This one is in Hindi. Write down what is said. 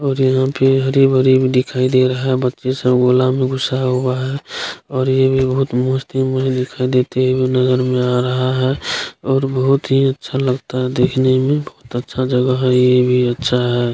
और यहाँ पे हरी-भरी भी दिखाई दे रहा है बच्चे सब गोला में घुसाए हुआ है और ये भी बहोत मस्ती में दिखाई देते हुए नजर में आ रहा है और बहोत ही अच्छा लगता है देखने में बहोत अच्छा जगह है ये भी अच्छा है।